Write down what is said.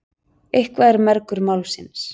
Eitthvað er mergur málsins